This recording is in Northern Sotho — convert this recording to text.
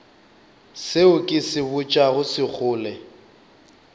seo ke se botšago sekgole